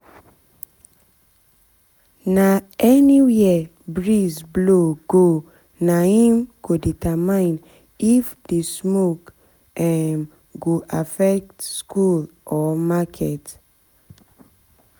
nah anywhere breeze blow go naim go determine if the smoke um go affect school or market